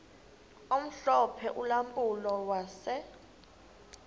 omhlophe ulampulo wase